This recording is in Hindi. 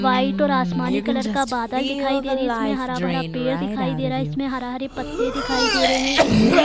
व्हाइट और असमानी कलर का बदल दिखाई दे रही है इसमें हरा-भरा पेड़ दिखाई दे रहा है इसमें हरे-हरे पत्ते दिखाई दे रहे है इसमें --